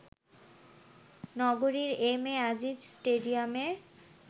নগরীর M A Aziz স্টেডিয়ামে